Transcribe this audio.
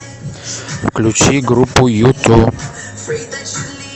включи группу юту